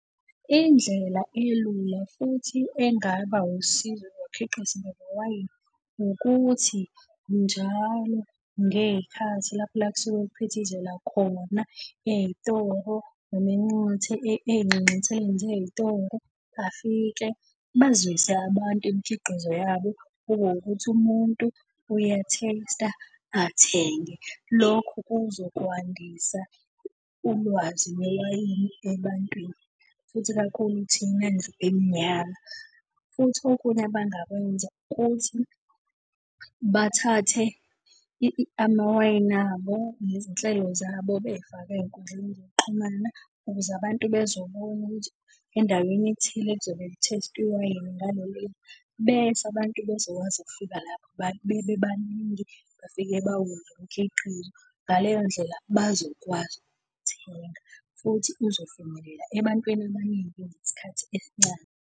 Indlela elula futhi engaba usizo ukuthi njalo ngey'khathi lapho la ekusuke kuphithizela khona ey'toro noma ey'nxanxatheleni zey'toro, bafike bazwise abantu imikhiqizo yabo, kube wukuthi umuntu uya-taste-a, athenge. Lokhu kuzokwandisa ulwazi lwewayini ebantwini, futhi kakhulu thina ndlu emnyama. Futhi okunye abangakwenza ukuthi bathathe amawayini abo, nezinhlelo zabo, bey'fake ey'nkundleni zokuxhumana ukuze abantu bezobona ukuthi endaweni ethile lizobe li-taste-wa iwayini . Bese abantu bezokwazi ukufika lapho bebe baningi, bafike bawudle umkhiqizo. Ngaleyo ndlela bazokwazi ukuthenga futhi uzofinyelela ebantwini abaningi ngesikhathi esincane.